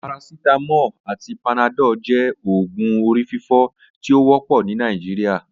Paracetamol ati panadol jẹ oògùn orififo ti o wọpọ ni Nigeria.